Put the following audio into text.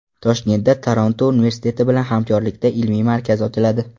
Toshkentda Toronto universiteti bilan hamkorlikda ilmiy markaz ochiladi.